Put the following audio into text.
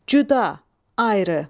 Cüda, ayrı.